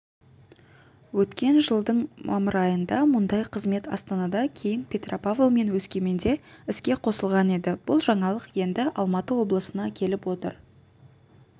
өткен жылдың мамыр айында мұндай қызмет астанада кейін петропавл мен өскеменде іске қосылған еді бұл жаңалық енді алматы облысына келіп отыр